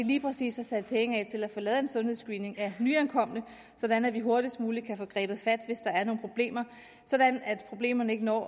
lige præcis har sat penge af til at få lavet en sundhedsscreening af nyankomne sådan at vi hurtigst muligt kan få grebet fat hvis der er nogle problemer sådan at problemerne ikke når